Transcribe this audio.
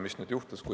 Mis nüüd juhtus?